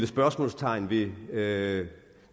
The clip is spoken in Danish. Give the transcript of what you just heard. spørgsmålstegn ved med